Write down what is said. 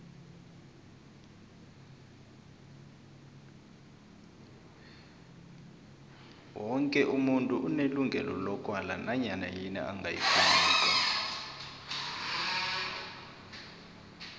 woke umuntu unelungelo lokwala nanyana yini angayifuniko